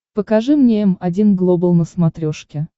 покажи мне м один глобал на смотрешке